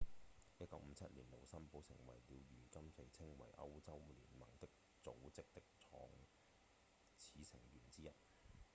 1957年盧森堡成為了如今被稱為歐洲聯盟的組織的創始成員之一